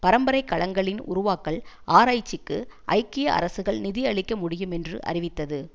பரம்பரைக்கலங்களின் உருவாக்கல் ஆராய்ச்சிக்கு ஐக்கிய அரசுகள் நிதி அளிக்க முடியுமென்று அறிவித்தது